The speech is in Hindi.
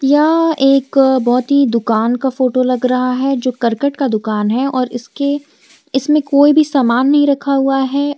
यह एक बहुत ही दुकान का फोटो लग रहा है जो करकट का दुकान है और इसके इसमें कोई भी समान नहीं रखा हुआ है।